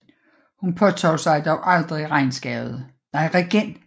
Hun påtog sig dog aldrig regentskabet